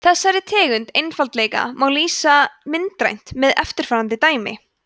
þessari tegund einfaldleika má lýsa myndrænt með eftirfarandi dæmi